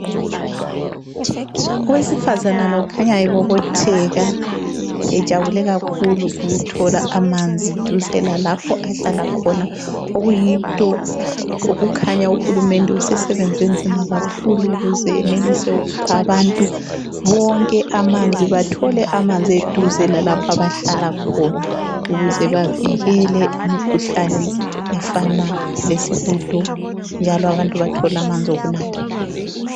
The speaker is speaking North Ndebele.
Owesifazana lo ukhanya ebobotheka, ejabule kakhulu ukuthola amanzi duze lalapho ahlala khona okuyinto okukhanya uHulumende usesebenze nzima kakhulu ukuze enelise ukupha abantu bonke amanzi bathole amanzi eduze lalapho abahlala khona ukuze bavikele imikhuhlane efana lesihudo njalo abantu bathole amanzi okunatha.